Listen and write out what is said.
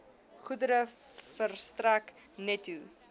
goedere verstrek netto